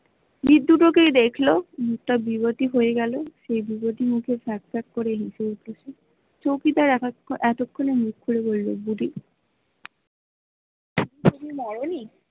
দেখল মুখটা বেগতিক হয়ে গেল সেই বেগতিক মুখে ফ্যাক ফ্যাক করে হেসে উঠল চৌকিদার এতক্ষণে মুখ খুলে বলল মরে নি?